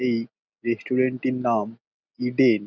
এই রেস্টুরেন্ট টির নাম ইডেন ।